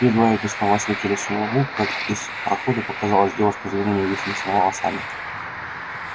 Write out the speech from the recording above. едва эти слова слетели с его губ как из прохода показалась девушка с длинными вьющимися волосами